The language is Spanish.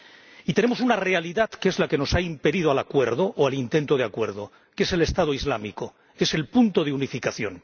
Y tenemos una realidad, que es la que nos ha impedido el acuerdo, o el intento de acuerdo, que es el Estado Islámico, que es el punto de unificación.